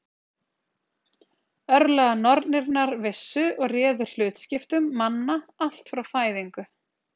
Örlaganornirnar vissu og réðu hlutskiptum manna allt frá fæðingu.